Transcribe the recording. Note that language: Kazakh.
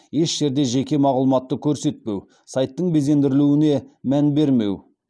еш жерде жеке мағлұматты көрсетпеу сайттың безендірілуіне мән бермеу